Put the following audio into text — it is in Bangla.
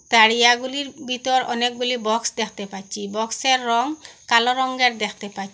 তারিয়াগুলির ভিতর অনেকগুলি বক্স দেখতে পাচ্ছি বক্সের রঙ কালো রঙ্গের দেখতে পাচ্ছি।